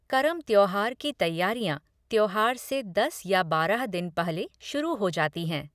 करम त्यौहार की तैयारियां त्यौहार से दस या बारह दिन पहले शुरू हो जाती हैं।